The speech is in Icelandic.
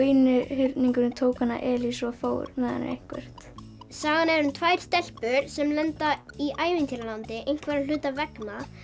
einhyrningurinn tók Elísu og fór með hana eitthvert sagan er um tvær stelpur sem lenda í ævintýralandi einhverra hluta vegna